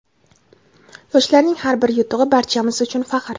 Yoshlarning har bir yutug‘i - barchamiz uchun faxr!.